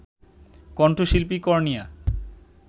কণ্ঠশিল্পী কর্ণিয়া